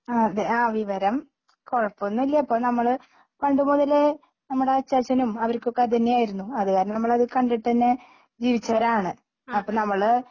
ആ അതെ ആ വിവരം കുഴപ്പമൊന്നുമില്ല ഇപ്പം നമ്മള് പണ്ടുമുതലേ നമ്മുടെ അച്ചാച്ചനും അവർക്കൊക്കെ അതുതന്നെയായിരുന്നു അതുകാരണം നമ്മളത് കണ്ടിട്ടന്നെ ജീവിച്ചവരാണ് അപ്പം നമ്മള്